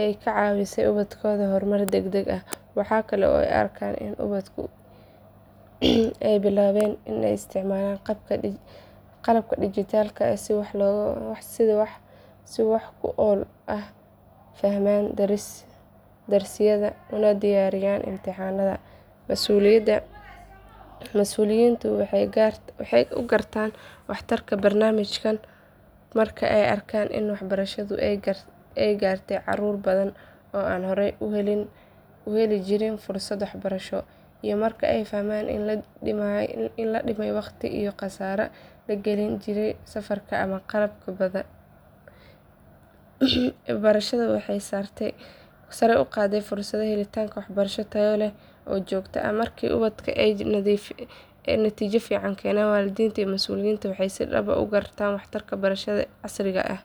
ay ka caawisay ubadkooda horumar degdeg ah. Waxa kale oo ay arkaan in ubadka ay bilaabeen in ay isticmaalaan qalabka dhijitaalka ah si wax ku ool ah u fahmaan darsiyada una diyaariyaan imtixaanada. Mas’uuliyiintu waxay u gartaan waxtarka barnaamijkan marka ay arkaan in waxbarashadu ay gaartay caruur badan oo aan hore u heli jirin fursad waxbarasho, iyo marka ay fahmaan in la dhimay waqtiga iyo kharashka la gelin jiray safarka ama qalabka badan. Ebarashada waxay sare u qaadaysaa fursadda helidda waxbarasho tayo leh oo joogto ah. Markii ubadku ay natiijo fiican keenaan, waalidiinta iyo mas’uuliyiinta waxay si dhab ah u garanayaan waxtarka barashadan casriga ah.